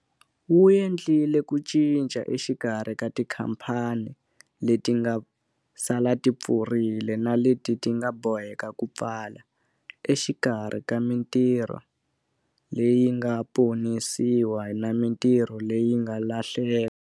Wu endlile ku cinca exikarhi ka tikhamphani leti nga sala ti pfurile na leti ti nga boheka ku pfala, exikarhi ka mitirho leyi nga ponisiwa na mitirho leyi nga lahleka.